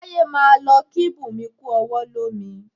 Táyé máa lọ kí Bunmi kú ọwọ́ lomi